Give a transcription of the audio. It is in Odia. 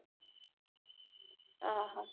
ଆଁ ହ